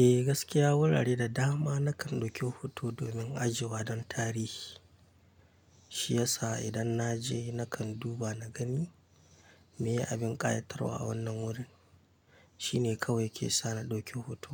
Eh gaskiya wurare da dama nakan ɗauki hoto domin ajiwa don tarihi. Shi yasa idan na je nakan duba na gani me ya a bin ƙayatarwa a wannan wurin. Shi ne kawai ke sa ni ɗauki hoto.